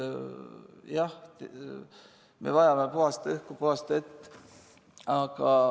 Jah, me vajame puhast õhku, puhast vett.